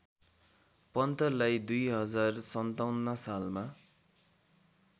पन्तलाई २०५७ सालमा